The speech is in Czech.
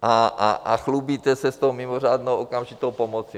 A chlubíte se s tou mimořádnou okamžitou pomocí.